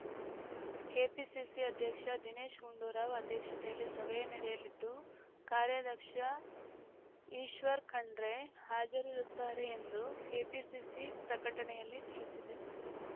KPCC ಅಧ್ಯಕ್ಷ ದಿನೇಶ್‌ ಗುಂಡೂರಾವ್‌ ಅಧ್ಯಕ್ಷತೆಯಲ್ಲಿ ಸಭೆ ನಡೆಯಲಿದ್ದು ಕಾರ್ಯಾಧ್ಯಕ್ಷ ಈಶ್ವರ್‌ ಖಂಡ್ರೆ ಹಾಜರಿರುತ್ತಾರೆ ಎಂದು ಕೆಪಿಸಿಸಿ ಪ್ರಕಟಣೆಯಲ್ಲಿ ತಿಳಿಸಿದೆ